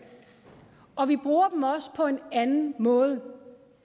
og vi bruger dem også på en anden mål